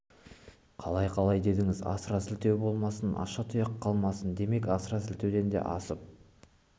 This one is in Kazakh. қалай-қалай дедіңіз асыра сілтеу болмасын аша тұяқ қалмасын демек асыра сілтеуден де асырып